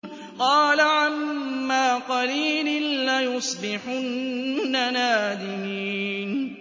قَالَ عَمَّا قَلِيلٍ لَّيُصْبِحُنَّ نَادِمِينَ